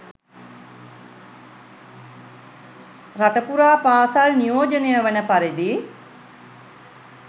රට පුරා පාසල් නියෝජනය වන පරිදි